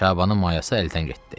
Şabanın mayası əldən getdi.